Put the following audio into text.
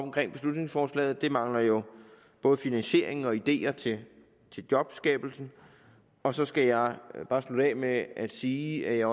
beslutningsforslaget det mangler jo både finansiering og ideer til jobskabelse og så skal jeg bare slutte af med at sige at jeg